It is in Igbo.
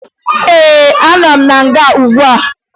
Ee, anọ m na nga ugbua